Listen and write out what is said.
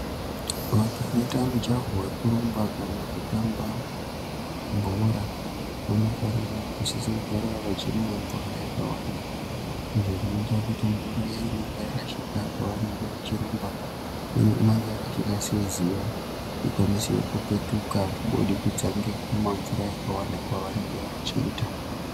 Vanthu vanoita mijaho wekurumba kana kutamba, bhora, vanofanira kusisise kugara vachimwe mvura yakawanda. Izvo zvinoita kuti mvura iya inenga yarashika pavanenga vachirumba, inenga yarashika seziya ikwanise kupetuka kubudikidza ngekumwa mvura yakawanda kwavanenga vachiita.